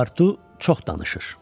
Paspartu çox danışır.